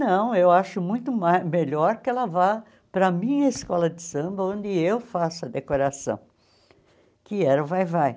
Não, eu acho muito mai melhor que ela vá para a minha escola de samba, onde eu faço a decoração, que era o vai-vai.